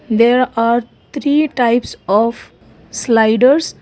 there are three types of sliders.